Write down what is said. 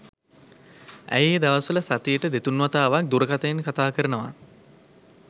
ඇය ඒ දවස්වල සතියට දෙතුන් වතාවක් දුරකථනයෙන් කතා කරනවා.